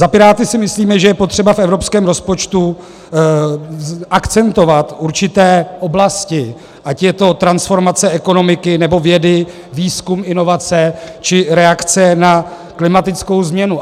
Za Piráty si myslíme, že je potřeba v evropském rozpočtu akcentovat určité oblasti, ať je to transformace ekonomiky, nebo vědy, výzkum, inovace, či reakce na klimatickou změnu.